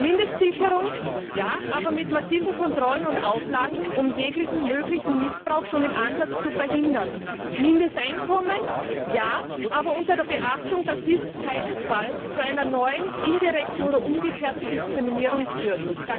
Mindestsicherung ja, aber mit massiven Kontrollen und Auflagen, um jeglichen möglichen Missbrauch schon im Ansatz zu verhindern. Mindesteinkommen ja, aber mit der Maßgabe, dass dies keinesfalls zu einer neuen indirekten oder umgekehrten Diskriminierung führt.